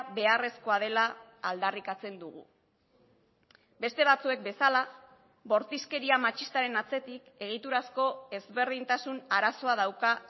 beharrezkoa dela aldarrikatzen dugu beste batzuek bezala bortizkeria matxistaren atzetik egiturazko ezberdintasun arazoa dauka